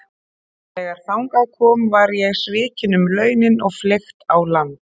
Þegar þangað kom var ég svikinn um launin og fleygt á land.